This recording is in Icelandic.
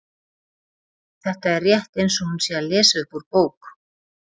Þetta er rétt eins og hún sé að lesa upp úr bók.